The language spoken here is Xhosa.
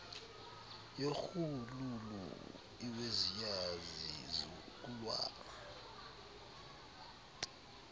yorhuululu iweziya zizukulwana